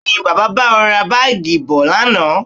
Bẹẹ̀ni, Bàbá bá ọ ra Báágì bọ̀ lánàá